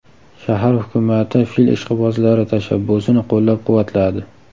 Shahar hukumati fil ishqibozlari tashabbusini qo‘llab-quvvatladi.